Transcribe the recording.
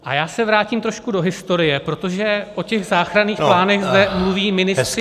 A já se vrátím trošku do historie, protože o těch záchranných plánech zde mluví ministři ANO -